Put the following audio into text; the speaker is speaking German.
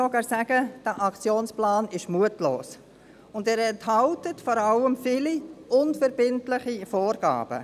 Man kann sogar sagen: Dieser Aktionsplan ist mutlos und enthält vor allem viele unverbindliche Vorgaben.